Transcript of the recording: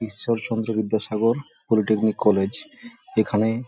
Ishwarchandra Vidyasagar polytechnic college এখানে--